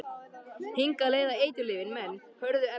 Hingað leiða eiturlyfin menn, hörðu efnin.